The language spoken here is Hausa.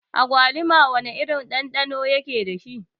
Agwaluma wana irin ɗanɗano yake dashi?